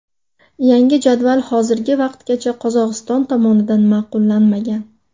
Yangi jadval hozirgi vaqtgacha Qozog‘iston tomonidan ma’qullanmagan.